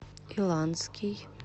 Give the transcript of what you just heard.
иланский